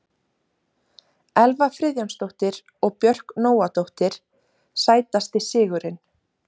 Elva Friðjónsdóttir og Björk Nóadóttir Sætasti sigurinn?